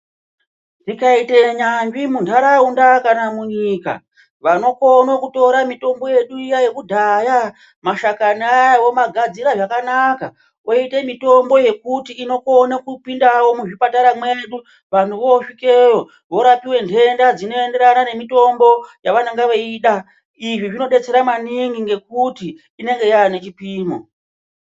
Tikaite nyanzvi muntaraunda kana munyika vanokone kutore mutombo yedu iya yekudhaya mashakani aya vomagadzire zvakanaka oite mutombo yekuti inokome kupindawo muzvipatara mwedu vanhu vosvikeyo vorapiwe ntenda dzinoenderana nemutombo yavanenge veida izvi zvinodetsera maningi ngekuti inenge yaane chipimo.